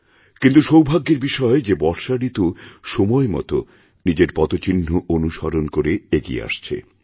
কিন্তুসৌভাগ্যের বিষয় যে বর্ষা ঋতু সময় মত নিজের পদচিহ্ন অনুসরণ করে এগিয়ে আসছে